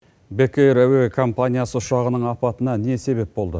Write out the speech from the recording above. бек эйр әуе компаниясы ұшағының апатына не себеп болды